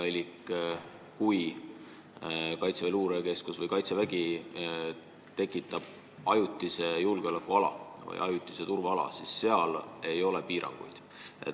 Nimelt, kui Kaitseväe Luurekeskus või Kaitsevägi tekitab ajutise julgeolekuala või ajutise turvaala, siis seal ei ole piiranguid.